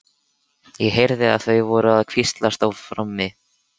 Ég heyrði að þau voru að hvíslast á frammi.